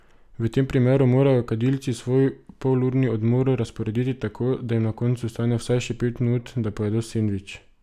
V tem primeru morajo kadilci svoj polurni odmor razporediti tako, da jim na koncu ostane vsaj še pet minut, da pojedo sendvič.